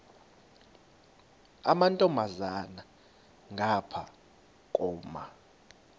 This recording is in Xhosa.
amantombazana ngapha koma